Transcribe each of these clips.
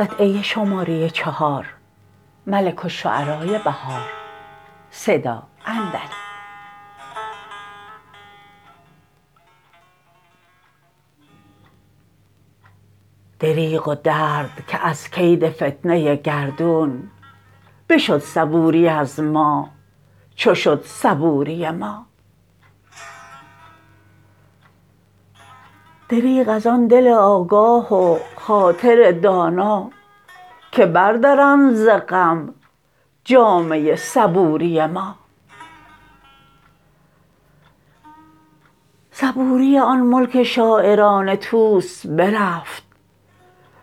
دریغ و درد که از کید فتنه گردون بشد صبوری ازما چوشد صبوری ما دریغ از آن دل آگاه و خاطر دانا که بردرند ز غم جامه صبوری ما صبوری آن ملک شاعران طوس برفت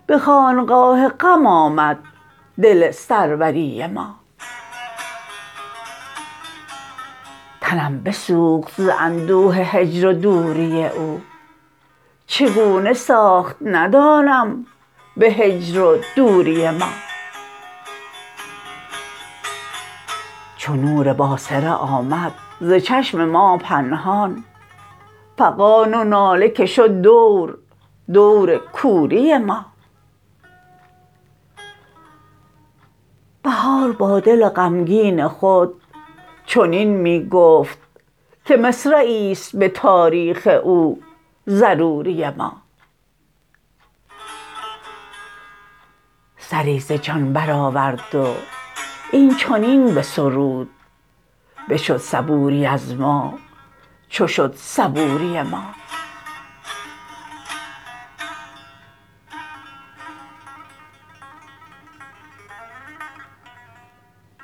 به خانقاه غم آمد دل سروری ما تنم بسوخت ز اندوه هجر و دوری او چگونه ساخت ندانم به هجر و دوری ما چو نور باصره امد ز چشم ما پنهان فغان و ناله که شد دور دور کوری ما بهار با دل غمگین خود چنین می گفت که مصرعی است به تاریخ او ضروری ما سری ز جان برآورد و این چنین به سرود بشد صبوری از ما چو شد صبوری ما